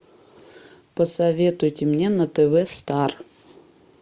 посоветуйте мне на тв стар